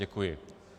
Děkuji.